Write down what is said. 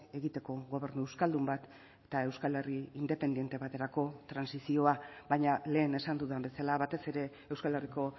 egiteko gobernu euskaldun bat eta euskal herri independente baterako trantsizioa baina lehen esan dudan bezala batez ere euskal herriko